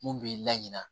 Mun b'i la ɲina